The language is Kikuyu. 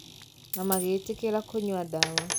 Na magĩtĩkĩra kũnyua ndawa